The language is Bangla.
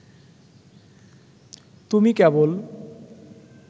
তুমি কেবল